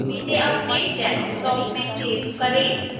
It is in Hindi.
इसे अपने desktop में सेव करें